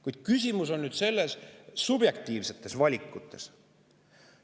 Kuid küsimus on nüüd subjektiivsetes valikutes.